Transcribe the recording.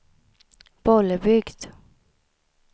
Bollebygd